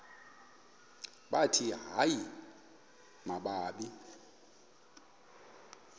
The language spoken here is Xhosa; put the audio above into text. bathi hayi mababe